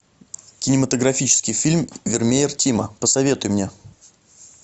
кинематографический фильм вермеер тима посоветуй мне